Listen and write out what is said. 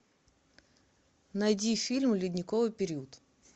найди фильм ледниковый период